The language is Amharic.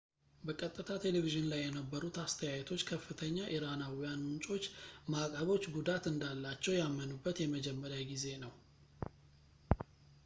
በቀጥታ ቴሌቪዝን ላይ የነበሩት አስተያየቶች ከፍተኛ ኢራናዊያን ምንጮች ማዕቀቦች ጉዳት እንዳላቸው ያመኑበት የመጀመሪያ ጊዜ ነው